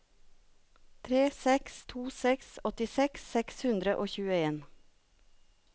tre seks to seks åttiseks seks hundre og tjueen